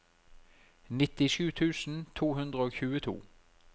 nittisju tusen to hundre og tjueto